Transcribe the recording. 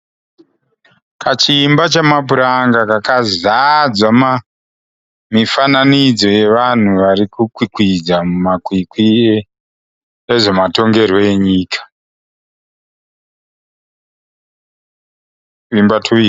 Kachiimba chamapuranga kakazadzwa mifananidzo yevanhu varikukwikwidza mumakwikwi ezve matongerwo enyika.